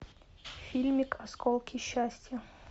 фильмик осколки счастья